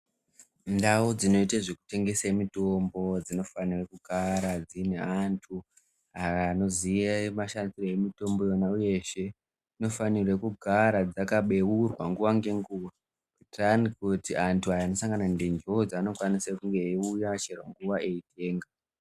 Ndau dzinoite zvekutengese mitombo dzinofanire kugara dzine antu ,anoziye mashandire emitombo yona iyo yeshe, uye dzinofanira kugara dzakabeurwa nguva nenguva, kuitira ayani kuti antu anosangana ndi, ndonzvimbo dzaanokwanisa kuuya chero nguwa eitenga.